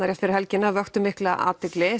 rétt fyrir helgina vöktu mikla athygli